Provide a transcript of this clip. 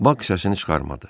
Bax səsini çıxarmadı.